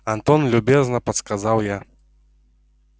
антон любезно подсказал я